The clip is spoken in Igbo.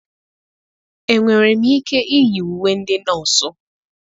enwere m ike iyi uwe ndị nọọsụ?